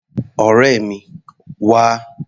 Ọ̀rẹ́ mi, wá!